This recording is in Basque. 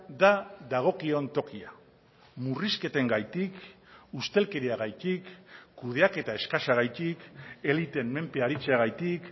da dagokion tokia murrizketengatik ustelkeriagatik kudeaketa eskasagatik eliteen menpe aritzeagatik